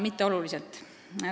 Mitte oluliselt.